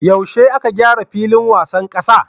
Yaushe aka gyara filin wasan kasa?